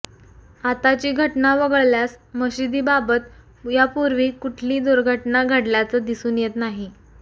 आताची घटना वगळल्यास मशिदीबाबत यापूर्वी कुठली दुर्घटना घडल्याचं दिसून येत नाही